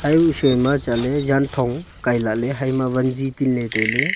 haiku sui ma chatley jaanthong kailale haima vanzi pinle tailey.